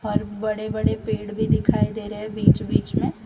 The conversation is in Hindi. और बड़े बड़े पेड़ भी दिखाई दे रहे बीच बीच मे --